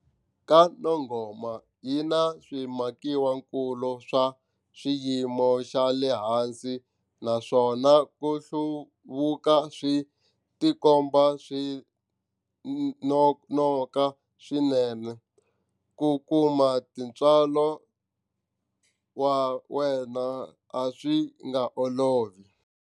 KwaNongoma yi na swimakiwakulu swa xiyimo xa le hansi naswona ku hluvuka swi tikomba swi nonoka swinene. Ku kuma tintswalo wa wena a swi nga olovi.